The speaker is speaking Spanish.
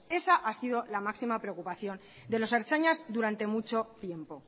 esa ha sido la máxima preocupación de los ertzainas durante mucho tiempo